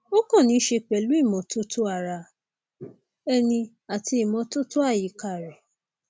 ó kàn níí ṣe pẹlú ìmọtótó ara ẹni àti ìmọtótó àyíká rẹ